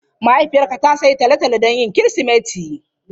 Mahaifiyarka ta sayi tolotolo don Kirsimeti?